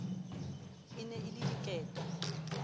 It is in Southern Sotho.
e ne e le diketo